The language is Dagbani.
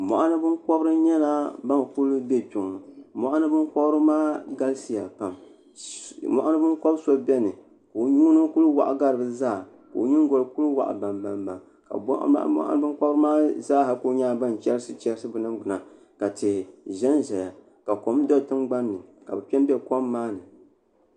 Mɔɣuni binkɔbiri nyɛla ban kuli be Kpɛŋɔ mɔɣuni binkɔbiri maa galisiya pam mɔɣuni binkɔb'so beni ŋuna n-kuli waɣa gari bɛ zaa ka o nyingɔli kuli waɣi bambambam ka mɔɣuni binkɔbiri zaa ha kuli nyɛla ban chɛrisi bɛ ningbuna ka tihi ʒenʒeya ka kom do tingbani ni ka bɛ kpe m-be kom maa ni.